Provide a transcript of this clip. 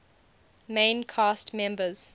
main cast members